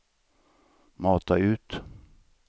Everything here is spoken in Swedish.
mata ut